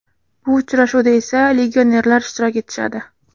Bu uchrashuvda esa legionerlar ishtirok etishadi.